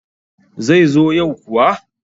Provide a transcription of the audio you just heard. zai zo yau kuwa?